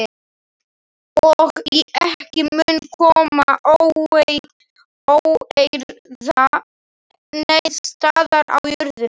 Og ekki mun koma til óeirða neins staðar á jörðinni.